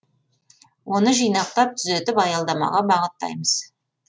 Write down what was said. оны жинақтап түзетіп аялдамаға бағыттаймыз